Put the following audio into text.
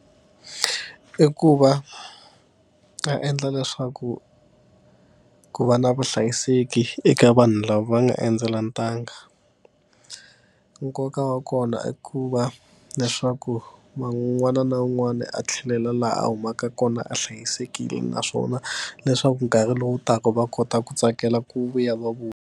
I ku va a endla leswaku ku va na vuhlayiseki eka vanhu lava va nga endzela ntanga. Nkoka wa kona i ku va leswaku va un'wana na un'wana a tlhelela laha a humaka kona a hlayisekile naswona leswaku nkarhi lowu taka va kota ku tsakela ku vuya va vuya.